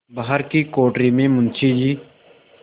बाहर की कोठरी में मुंशी जी